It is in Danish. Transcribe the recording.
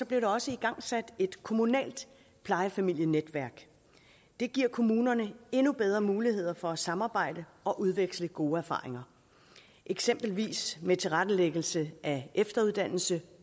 blev der også igangsat et kommunalt plejefamilienetværk det giver kommunerne endnu bedre muligheder for at samarbejde og udveksle gode erfaringer eksempelvis med tilrettelæggelse af efteruddannelse